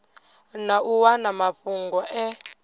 na u wana mafhungo e